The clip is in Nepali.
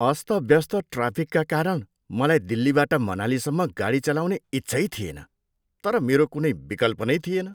अस्तव्यस्त ट्राफिकका कारण मलाई दिल्लीबाट मनालीसम्म गाडी चलाउने इच्छै थिएन, तर मेरो कुनै विकल्प नै थिएन।